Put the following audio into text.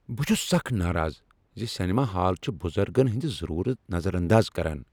بہٕ چھس سخ ناراض ز سینما ہال چھ بُزرگن ہندۍ ضرورت نظر انداز کران۔